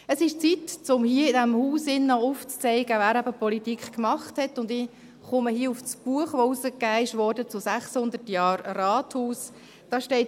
Es ist an der Zeit, um hier, in diesem Haus, aufzuzeigen, wer eben Politik gemacht hat, und ich komme hier auf das Buch, welches zu 600 Jahren Rathaus herausgegeben wurde, zu sprechen.